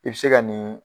I bɛ se ka nin